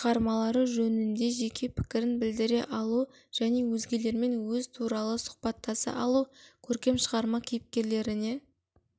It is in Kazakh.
шығармалары жөнінде жеке пікірін білдіре алу және өзгелермен өз туралы сұқбаттаса алу көркем шығарма кейіпкерлеріне